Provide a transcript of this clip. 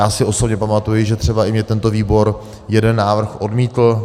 Já si osobně pamatuji, že třeba i mně tento výbor jeden návrh odmítl.